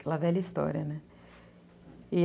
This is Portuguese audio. velha história, né?